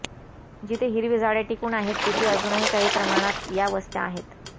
जिथे हिरवी झाडे टिकून आहेत तिथे अजूनही काही प्रमाणात या वस्त्या आहेत